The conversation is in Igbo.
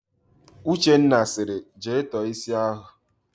Uchenna sịrị, "jee tọọ ísí ahụ"!